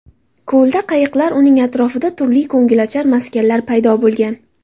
Ko‘lda qayiqlar, uning atrofida turli ko‘ngilochar maskanlar bo‘lgan.